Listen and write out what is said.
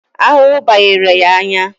Ahụhụ banyere ya anya